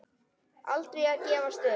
Aldrei að gefast upp.